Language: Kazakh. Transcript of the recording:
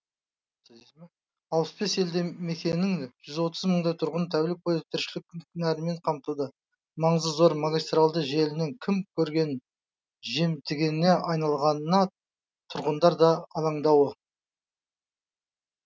алпыс бес елді мекеннің жүз отыз мыңдай тұрғынын тәулік бойы тіршілік нәрімен қамтылы маңызы зор магистральды желінің кім көрінгенін жемтігіне айналғанына тұрғындар да алаңдаулы